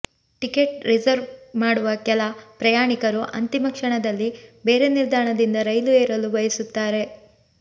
ticket reserve ಮಾಡುವ ಕೆಲ ಪ್ರಯಾಣಿಕರು ಅಂತಿಮ ಕ್ಷಣದಲ್ಲಿ ಬೇರೆ ನಿಲ್ದಾಣದಿಂದ ರೈಲು ಏರಲು ಬಯಸುತ್ತಾರೆ